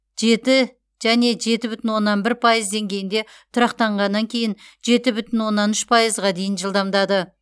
жеті және жеті бүтін оннан бір пайыз деңгейінде тұрақтанғаннан кейін жеті бүтін оннан үш пайызға дейін жылдамдады